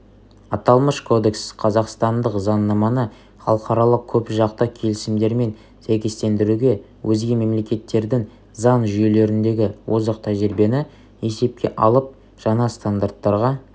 аталмыш кодекс қазақстандық заңнаманы халықаралық көпжақты келісімдермен сәйкестендіруге өзге мемлекеттердің заң жүйелеріндегі озық тәжірибені есепке алып жаңа стандарттаға